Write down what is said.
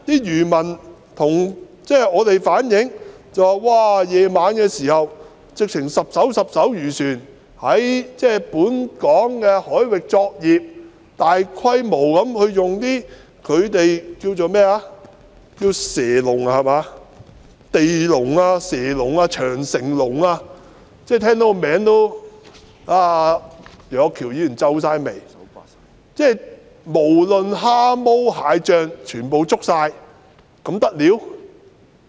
漁民向我們反映說，晚上數以十計的漁船在本港海域作業，大規模地使用他們稱為"蛇籠"、"地籠"、"長城籠"的魚網——楊岳橋議員聽到這些名字也皺眉——把蝦毛蟹將全部捉走，這還得了嗎？